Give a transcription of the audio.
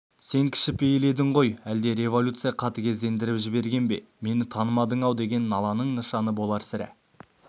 сен кішіпейіл едің ғой әлде революция қатыгездендіріп жіберген бе мені танымадың-ау деген наланың нышаны болар сірә